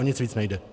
O nic víc nejde.